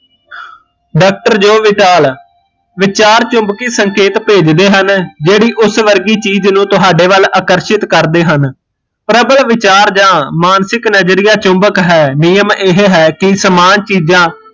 doctor Joe Vitale, ਵਿਚਾਰ ਚੁਮਬਕੀਂ ਸੰਕੇਤ ਭੇਜਦੇ ਹਨ ਜਿਹੜੀ ਉਸ ਵਰਗੀ ਚੀਜ਼ ਨੂ ਤੁਹਾਡੇ ਵੱਲ ਆਕਰਸ਼ਿਤ ਕਰਦੇ ਹਨ ਪ੍ਰਬਲ ਵਿਚਾਰ ਜਾਂ ਮਾਨਸਿਕ ਨਜਰੀਆ ਚੁਬੱਕ ਹੈ ਏਹ ਹੈ ਕੀ ਸਮਾਨ ਚੀਜ਼ਾਂ